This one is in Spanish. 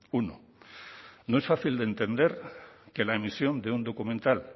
uno no es fácil de entender que la emisión de un documental